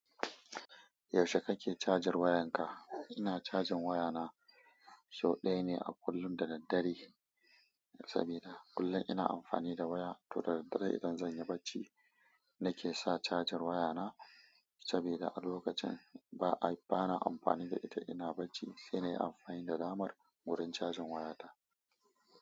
Yaushe kake cajar wayanka? Ina cajin wayana sau ɗaya ne a kullum da daddare, sabida kullum ina amfani da waya, to da daddare idan zanyi barci nake sa cajar wayana, sabida a lokacin ba'a bana amfani da ita ina barci, shine ina amfani da damar wurin cajin wayata.